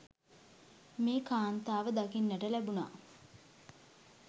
මේ කාන්තාව දකින්නට ලැබුනා.